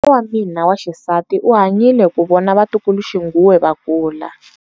Kokwa wa mina wa xisati u hanyile ku vona vatukuluxinghuwe va kula.